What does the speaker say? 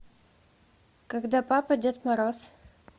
когда папа дед мороз